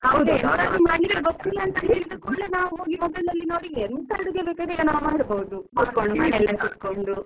ನಾವ್ ಹೋಗಿ mobile ಅಲ್ಲಿ ನೋಡಿ ಎಂತ ಅಡಿಗೆ ಸ ಮಾಡ್ಬಹದು ಕುತ್ಕೊಂಡು ಮನೆಲ್ಲೇ ಕುತ್ಕೊಂಡು.